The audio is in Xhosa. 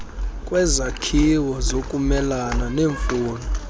kwezakhiwo zokumelana nemfuno